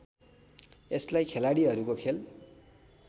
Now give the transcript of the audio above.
यसलाई खेलाड़ीहरूको खेल